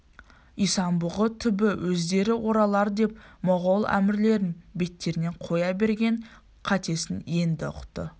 исан-бұғы түбі өздері оралар деп моғол әмірлерін беттеріне қоя берген қатесін енді ұқты